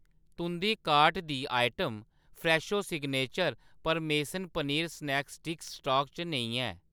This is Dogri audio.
तुंʼदी कार्ट दी आइटम फ्रैशो सिग्नेचर परमेसन पनीर स्नैक स्टिक्स स्टाक च नेईं ऐ